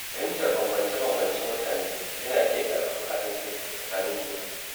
Fahimtar bambance-bambancen mutane yana iya ƙarfafa haɗin kai tsakanin juna.